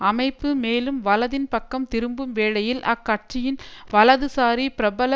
அமைப்பு மேலும் வலதின் பக்கம் திரும்பும் வேளையில் அக்கட்சியின் வலதுசாரி பிரபல